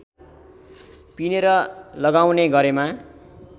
पिनेर लगाउने गरेमा